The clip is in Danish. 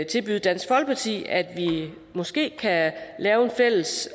tilbyde dansk folkeparti at vi måske kan lave en fælles